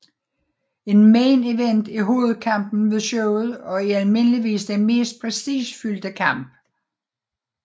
En main event er hovedkampen ved showet og er almindeligvis den mest prestigefyldte kamp